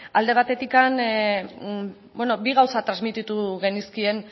alde batetik beno bi gauza transmititu genizkien